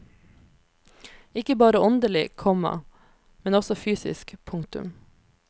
Ikke bare åndelig, komma men også fysisk. punktum